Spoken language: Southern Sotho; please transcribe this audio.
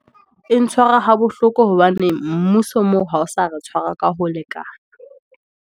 E ntshwara ha bohloko, hobane mmuso moo ha o sa re tshwara ka ho lekana.